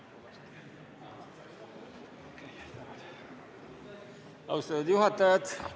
Austatud juhataja!